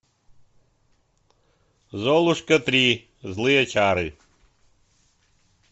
золушка три злые чары